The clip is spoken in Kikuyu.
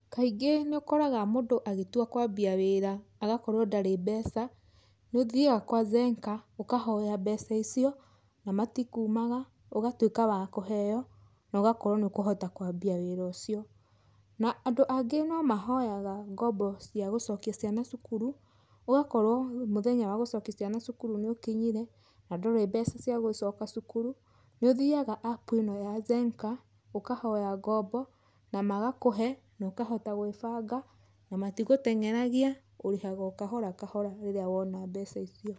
Kaingī nī ūkoraga mūndū agītua kūambia wīra agakorwo ndarī mbeca nī ūthiaga kwa Zenka ūkahoya mbeca icio na matikūimaga ūgatuīka wa kūheo na ūgakorwo nī ūkūhota kūambia wīra ūcio. Na andū angī no mahoyaga ngombo cia gūcokia ciana cukuru ūgakorwo mūthenya wa gūcokia ciana cukuru nī ūkinyire na ndūrī mbeca cia gūcoka cukuru nī ūthiaga App īno ya Zenka ūkahoya ngombo na magakūhe na ūkahota gwībanga na matigūtengeragia, ūrīhaga o kahora kahora rīrīa wona mbeca icio.